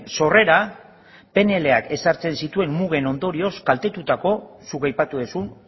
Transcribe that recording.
sorrera pnlak ezartzen zituen mugen ondorioz kaltetutako zuk aipatu duzun